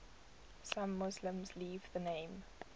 some muslims leave the name